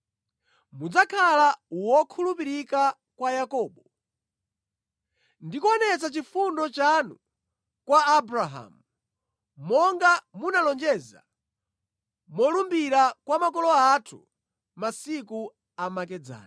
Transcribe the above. Mudzakhala wokhulupirika kwa Yakobo, ndi kuonetsa chifundo chanu kwa Abrahamu, monga munalonjeza molumbira kwa makolo athu masiku amakedzana.